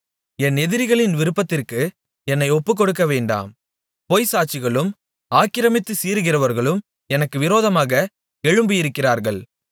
என் எதிரிகளின் விருப்பத்திற்கு என்னை ஒப்புக் கொடுக்கவேண்டாம் பொய்ச்சாட்சிகளும் ஆக்கிரமித்துச் சீறுகிறவர்களும் எனக்கு விரோதமாக எழும்பியிருக்கிறார்கள்